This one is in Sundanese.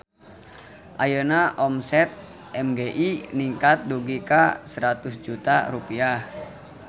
Ayeuna omset MGI ningkat dugi ka 100 juta rupiah